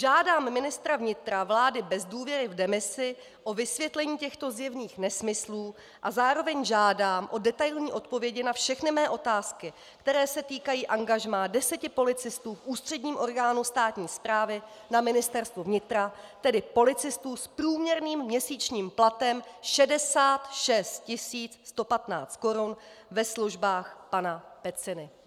Žádám ministra vnitra vlády bez důvěry v demisi o vysvětlení těchto zjevných nesmyslů a zároveň žádám o detailní odpovědi na všechny mé otázky, které se týkají angažmá deseti policistů v ústředním orgánu státní správy, na Ministerstvu vnitra, tedy policistů s průměrným měsíčním platem 66 115 korun ve službách pana Peciny.